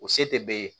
O se tɛ bɛɛ ye